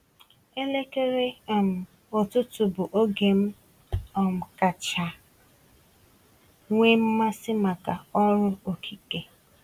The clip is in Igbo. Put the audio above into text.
Elekere um ụtụtụ bụ oge m um kacha nwee mmasị maka ọrụ okike.